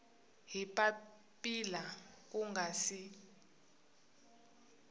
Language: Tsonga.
hi papila ku nga si